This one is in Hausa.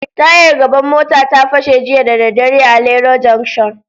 Tayar gaban mota ta, ta fashe jiya da dare a Lero jancshon.